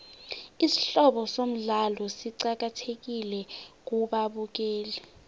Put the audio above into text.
isihloko somdlalo siqakathekile kubabukeli